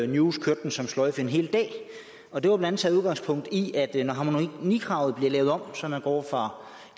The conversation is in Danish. news kørte den som sløjfe en hel dag og der var blandt andet taget udgangspunkt i at det når harmonikravet bliver lavet om så man går fra